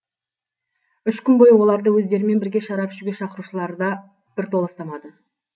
үш күн бойы оларды өздерімен бірге шарап ішуге шақырушыларда бір толастамады